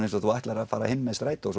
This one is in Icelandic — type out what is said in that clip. eins og þú ætlar að fara heim með strætó